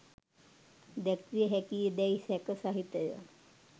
දැක්විය හැකිදැයි සැක සහිතය.